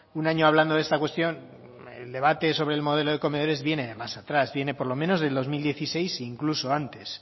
un año hablando de esta cuestión el debate sobre el modelo de comedores viene de más atrás viene por lo menos del dos mil dieciséis e incluso antes